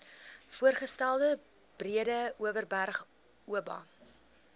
voorgestelde breedeoverberg oba